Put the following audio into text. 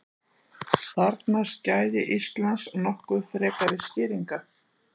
Þarfnast gæði Íslands nokkuð frekari skýringa?